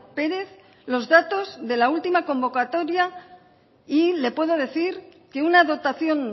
pérez los datos de la última convocatoria y le puedo decir que una dotación